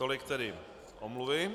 Tolik tedy omluvy.